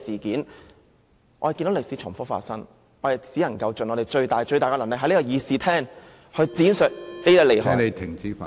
看着歷史重複發生，我們只能盡最大努力，於議事廳內闡述當中利害......